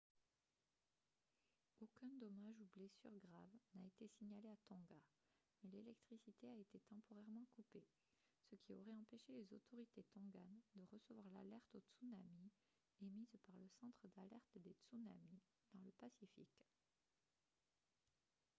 aucun dommage ou blessure grave n'a été signalé à tonga mais l'électricité a été temporairement coupée ce qui aurait empêché les autorités tonganes de recevoir l'alerte au tsunami émise par le centre d'alerte des tsunamis dans le pacifique